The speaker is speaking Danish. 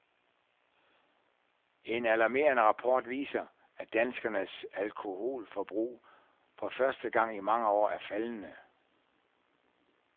En alarmerende rapport viser, at danskernes alkoholforbrug for første gang i mange år er faldende.